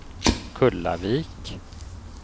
Kullavik